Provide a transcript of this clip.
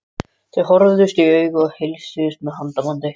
Þau horfðust í augu og heilsuðust með handabandi.